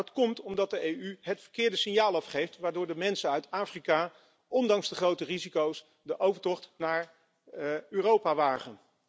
Maar dit komt omdat de EU het verkeerde signaal afgeeft, waardoor de mensen uit Afrika ondanks de grote risico's de overtocht naar Europa wagen.